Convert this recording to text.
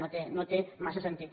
no té massa sentit